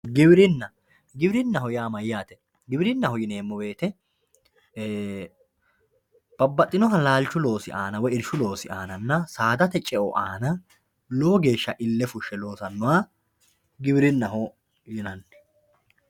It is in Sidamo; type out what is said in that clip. giwirinna giwirinna yaa mayaate giwirinnaho yineemo woyiite babbaxinoha laalchu loosi aana woye irshu loosi aana saadate ce"o aana lowo geesha ille fushshe loosannoha giwirinnaho yinanni.